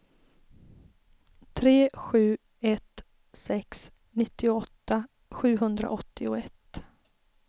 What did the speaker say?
tre sju ett sex nittioåtta sjuhundraåttioett